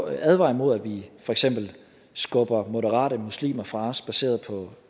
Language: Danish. advare imod at vi for eksempel skubber moderate muslimer fra os baseret